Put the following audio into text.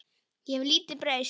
Ég hef lítið breyst.